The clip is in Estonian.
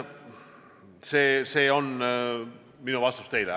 See on minu vastus teile.